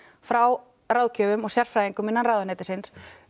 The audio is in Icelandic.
frá ráðgjöfum og sérfræðingum innan ráðuneytisins